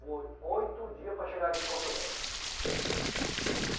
Foi oito dias para chegar aqui em Porto Velho.